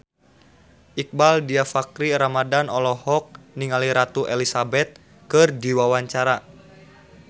Iqbaal Dhiafakhri Ramadhan olohok ningali Ratu Elizabeth keur diwawancara